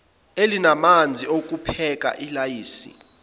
elalinamanzi okupheka ilayisi